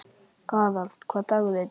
Gerald, hvaða dagur er í dag?